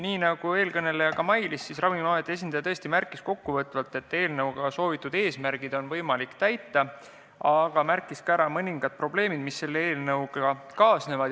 Nii nagu eelkõneleja mainis, Ravimiameti esindaja tõesti märkis kokkuvõtvalt, et eelnõu eesmärgid on võimalik täita, aga ta märkis ka ära mõningad probleemid, mis võiksid kaasneda.